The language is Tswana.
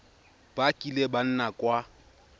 ba kileng ba nna kwa